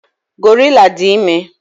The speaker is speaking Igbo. Gorilla dị ime.